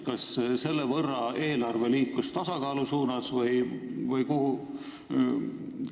Kas selle võrra liikus eelarve tasakaalu suunas või kuhu?